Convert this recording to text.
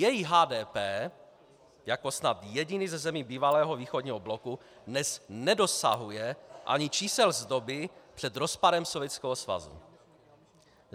Její HDP jako snad jediný ze zemí bývalého východního bloku dnes nedosahuje ani čísel z doby před rozpadem Sovětského svazu.